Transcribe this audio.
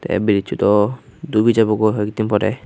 tey brizsow dow dubi jabogoi hoakdin poray.